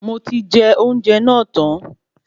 Moti je ounjẹ náà tan